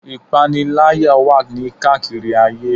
Ìpaniláyà wà ní káàkiri àgbáyé.